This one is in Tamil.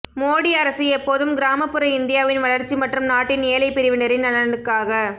மோடி அரசு எப்போதும் கிராமப்புற இந்தியாவின் வளர்ச்சி மற்றும் நாட்டின் ஏழை பிரிவினரின் நலனுக்காக